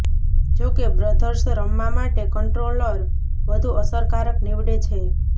જોકે બ્રધર્સ રમવા માટે કન્ટ્રોલર વધુ અસરકારક નિવડે છે